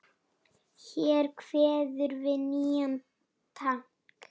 Hér kveður við nýjan takt.